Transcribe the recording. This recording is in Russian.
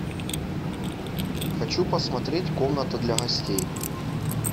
хочу посмотреть комната для гостей